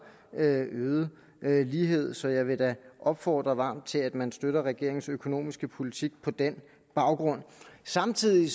øget lighed så jeg vil da opfordre varmt til at man støtter regeringens økonomiske politik på den baggrund samtidig